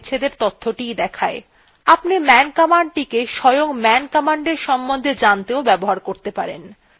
আপনি man commandটিকে স্বয়ং man commandএর সম্বন্ধে জানতেও ব্যবহার করতে পারেন